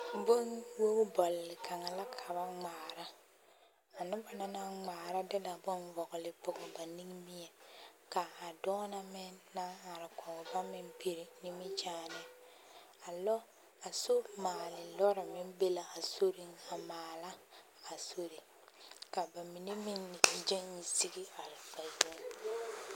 Bonwogibɔl kaŋa la ka ba ŋmaara, a noba na naŋ ŋmaara de la bone vɔgele pɔge ba nimmie ka a dɔɔ na meŋ naŋ are kɔge ba meŋ piri nimikyaane, a somaale lɔre meŋ be la a soriŋ a maala a sori ka bamine meŋ gyɛŋ yi are ba yoŋ